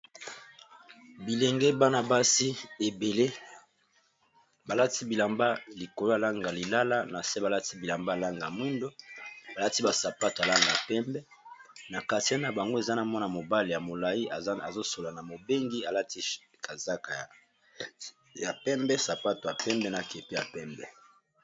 Bilenge bana-basi ebele balati bilamba likolo alanga lilala, na se balati bilamba alanga mwindo, balati basapato alanga pembe na katia na bango eza na mwana mobale ya molai azosola na mobengi alati kazaka ya pembe, sapato ya pembe na kepe ya pembe.